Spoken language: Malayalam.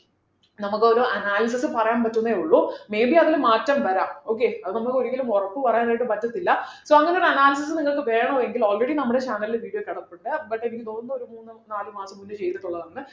നമുക്കൊരു analysis പറയാൻ പറ്റുന്നെ ഉള്ളു may be അതില് മാറ്റം വരാം okay അത് നമുക്ക് ഒരിക്കലും ഒറപ്പ് പറയാൻ ആയിട്ട് പറ്റത്തില്ല so അങ്ങനെ ഒരു analysis നിങ്ങൾക്ക് വേണമെങ്കിൽ already നമ്മുടെ channel ൽ video കിടപ്പുണ്ട് but എനിക്ക് തോന്നുന്നു ഒരു മൂന്ന് നാല് മാസം മുന്നേ ചെയ്തിട്ടുള്ളതാണ്